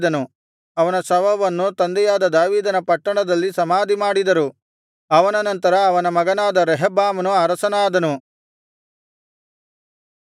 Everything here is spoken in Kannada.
ಪೂರ್ವಿಕರ ಬಳಿಗೆ ಸೇರಿದನು ಅವನ ಶವವನ್ನು ತಂದೆಯಾದ ದಾವೀದನ ಪಟ್ಟಣದಲ್ಲಿ ಸಮಾಧಿಮಾಡಿದರು ಅವನ ನಂತರ ಅವನ ಮಗನಾದ ರೆಹಬ್ಬಾಮನು ಅರಸನಾದನು